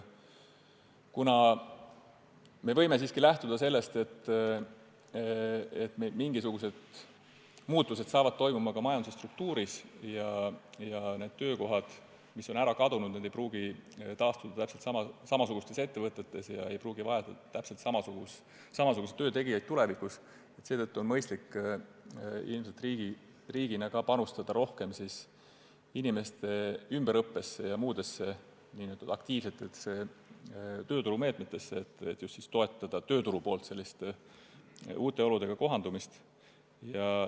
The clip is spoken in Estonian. Kuna me võime lähtuda sellest, et mingisugused muutused toimuvad meil ka majanduse struktuuris ja töökohad, mis on ära kadunud, ei pruugi taastuda täpselt samasugustes ettevõtetes ja ei pruugita vajada ka täpselt samasuguse töö tegijaid, siis on ilmselt mõistlik panustada riigina rohkem inimeste ümberõppesse ja muudesse nn aktiivsetesse tööturumeetmetesse, et toetada just tööturu poolt, uute oludega kohandumist.